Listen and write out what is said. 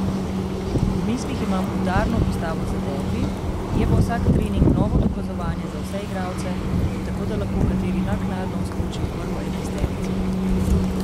V mislih imam udarno postavo za derbi, je pa vsak trening novo dokazovanje za vse igralce, tako da lahko kateri naknadno vskoči v prvo enajsterico.